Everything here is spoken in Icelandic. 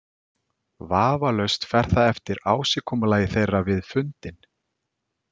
Vafalaust fer það eftir ásigkomulagi þeirra við fundinn.